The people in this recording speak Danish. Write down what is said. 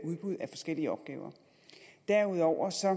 udbud af forskellige opgaver derudover ser